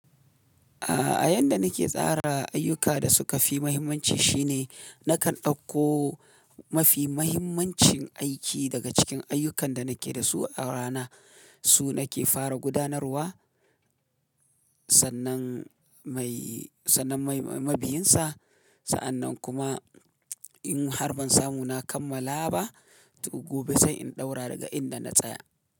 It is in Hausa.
A ayan da nake tsara ayyuka da suka fi mahimmanci shine nakan ɗauko mafi mahimmancin aiki daga cikin ayyukan da nake da su a rana, su nake fara gudanarwa sannan mai, sannan mai mabi'insa. Sa'annan kuma in har ban samu na kammala ba, to gobe zan in ɗaura daga inda na tsaya.